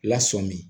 Lasɔmin